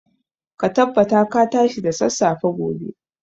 Ka tabbata ka tashi da sassafe gobe.